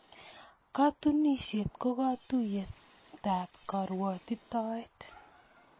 Katunisyet ko katuiyetab karwotitoet.